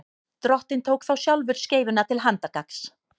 drottinn tók þá sjálfur skeifuna til handargagns